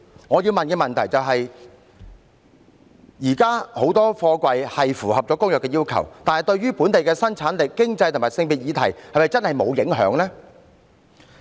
我要問的問題是，現時很多貨櫃是符合《公約》的要求，但對於本地生產力、經濟及性別議題是否真的沒有影響呢？